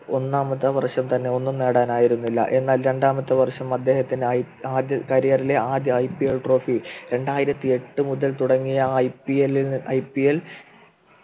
ഒന്നാമത്തെ വർഷം തന്നെ ഒന്നും നേടാനായില്ല എന്നാൽ രണ്ടാമത്തെ വർഷം അദ്ദേഹത്തിന് ആയി career ലെ ആദ്യ IPL Trophy രണ്ടായിരത്തി എട്ട് മുതൽ തുടങ്ങിയ IPL ൽ IPL